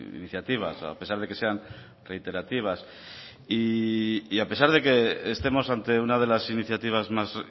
iniciativas a pesar de que sean reiterativas y a pesar de que estemos ante una de las iniciativas más